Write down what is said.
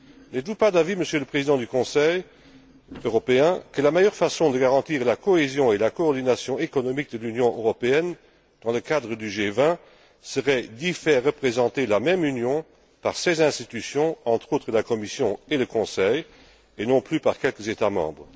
N'êtes vous pas d'avis, Monsieur le Président du Conseil européen, que la meilleure façon de garantir la cohésion et la coordination économiques de l'Union européenne dans le cadre du G20 serait d'y faire représenter la même Union par ses institutions, entre autres la Commission et le Conseil, et non plus par quelques États membres?